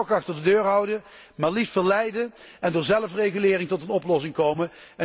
Je moet een stok achter de deur houden, maar liefst verleiden en door zelfregulering tot een oplossing komen.